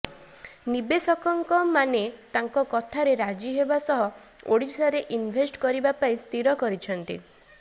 ନିବେଶକଙ୍କ ମାନେ ତାଙ୍କ କଥାରେ ରାଜି ହେବା ସହ ଓଡ଼ିଶାରେ ଇନ୍ଭେଷ୍ଟ କରିବା ପାଇଁ ସ୍ଥିର କରିଛନ୍ତି